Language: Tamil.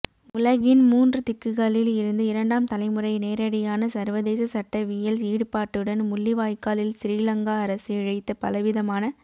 உலகின் மூன்று திக்குகளில் இருந்து இரண்டாம் தலைமுறையின் நேரடியான சர்வதேச சட்டவியல் ஈடுபாட்டுடன் முள்ளிவாய்க்காலில் சிறிலங்கா அரசு இழைத்த பலவிதமான